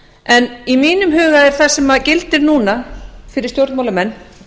en í mínum huga gildir núna fyrir stjórnmálamenn